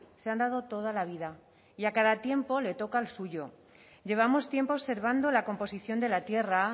se han dado toda la vida y a cada tiempo le toca el suyo llevamos tiempo observando la composición de la tierra